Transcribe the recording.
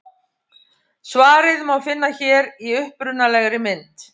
Svarið má finna hér í upprunalegri mynd.